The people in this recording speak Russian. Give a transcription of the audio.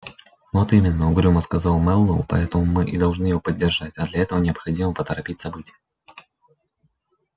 вот именно угрюмо сказал мэллоу поэтому мы и должны его поддержать а для этого необходимо поторопить события